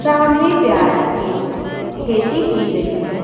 सामने प्याज की खेती की गई है।